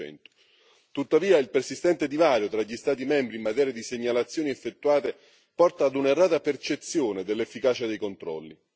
15 Tuttavia il persistente divario tra gli Stati membri in materia di segnalazioni effettuate porta a un'errata percezione dell'efficacia dei controlli.